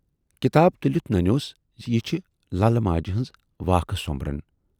کِتاب تُلِتھ نَنیوس زِ یہِ چھِ للہٕ ماجہِ ہٕنز واکھٕ سومبرن۔